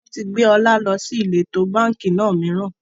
Wọn tí gbé ọ̀la lọ sí ìletò báńkì náà mìíràn